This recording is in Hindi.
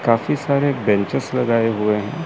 काफी सारे बेंचेस लगाए हुए हैं।